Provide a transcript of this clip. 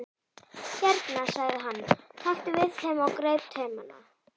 Hérna sagði hann, taktu við þeim og greip taumana.